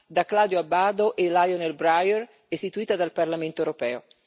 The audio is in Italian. da Claudio Abbado e Lionel Bryer, istituita dal Parlamento europeo.